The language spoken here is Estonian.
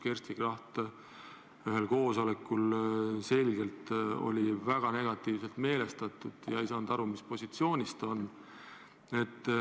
Kersti Kracht oli ühel koosolekul selgelt väga negatiivselt meelestatud, ei saanud aru, mis positsioonil ta on.